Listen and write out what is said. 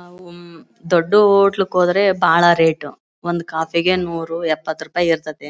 ಆಹ್ಹ್ಹ್ ಉಮ್ಮ್ಮ್ ದೊಡ್ಡ್ ಹೋಟೆಲ್ಗೆ ಹೋದ್ರೆ ಬಹಳ ರೇಟ್ ಒಂದ್ ಕಾಫಿ ನೂರು ಎಪ್ಪತ್ತು ರೂಪಾಯಿ ಇರ್ತಾತ್ತೆ